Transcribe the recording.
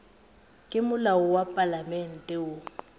ke molao wa palamente wo